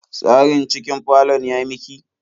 Tsarin cikin falon ya miki?